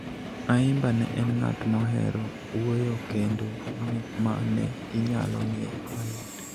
Ayimba ne en ng'at mohero wuoyo kendo ma ne inyalo ng'e mayot.